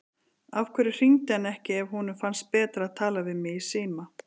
Af hverju hringdi hann ekki ef honum fannst betra að tala við mig í síma?